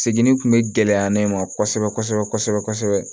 Seginni kun be gɛlɛya ne ma kosɛbɛ kosɛbɛ kosɛbɛ